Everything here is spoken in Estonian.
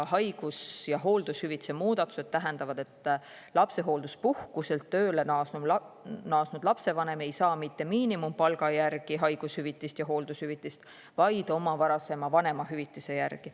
Haigus- ja hooldushüvitiste muudatused tähendavad, et lapsehoolduspuhkuselt tööle naasnud lapsevanem ei saa mitte miinimumpalga järgi haigushüvitist ja hooldushüvitist, vaid oma varasema vanemahüvitise järgi.